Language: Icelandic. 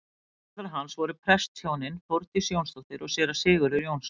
Foreldrar hans voru prestshjónin Þórdís Jónsdóttir og séra Sigurður Jónsson.